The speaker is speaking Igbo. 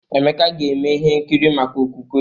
Emeka ga-eme ihe nkiri maka okwukwe.